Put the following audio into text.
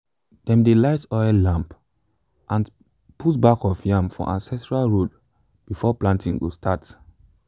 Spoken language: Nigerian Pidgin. dem dey light oil lamp and put back of yam for ancestral road before planting go start.